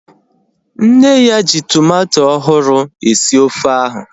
Nne ya ji tomato ọhụrụ esi ofe ahu